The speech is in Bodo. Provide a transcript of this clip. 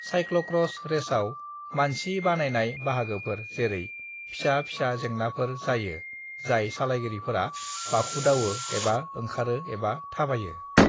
साइक्ल'क्र'स रेसआव मानसि बानायनाय बाहागोफोर जेरै फिसा-फिसा जेंनाफोर जायो जाय सालायगिरिफोरा बाखुदावो एबा ओंखारो एबा थाबायो।